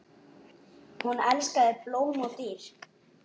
Hún elskaði blóm og dýr.